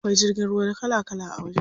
Akwai jirgin ruwa kala kala a wajen.